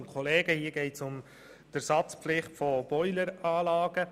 Hier geht es um die Ersatzpflicht von Boileranlagen.